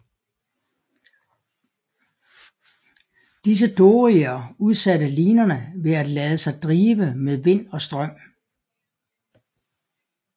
Disse doryer udsatte linerne ved at lade sig drive med vind og strøm